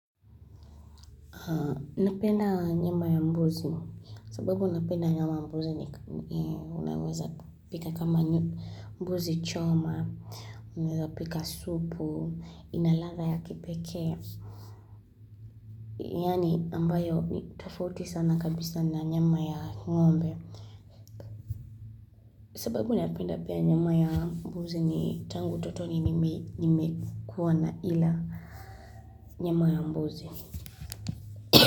Napenda nyama ya mbuzi sababu napenda nyama ya mbuzi ni unawaza pika kama mbuzi choma, unawaza pika supu, ina latha ya kipekea. Yani ambayo tufauti sana kabisa na nyama ya ngombe sababu napenda pia nyama ya mbuzi ni tangu totoni nimekuwa na ila nyama ya mbuzi.